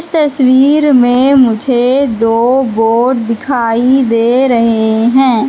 तस्वीर में मुझे दो बोर्ड दिखाई दे रहे हैं।